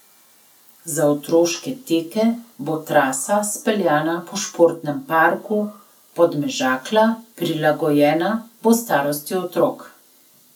Za otroške teke bo trasa speljana po športnem parku Podmežakla, prilagojena bo starosti otrok.